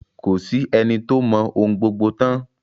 Ko sí ẹni tó mọ ohun gbogbo tán.